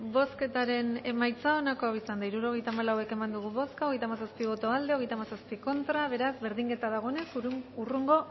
bozketaren emaitza onako izan da hirurogeita hamalau eman dugu bozka hogeita hamazazpi boto aldekoa treinta y siete contra beraz berdinketa dagoenez hurrengo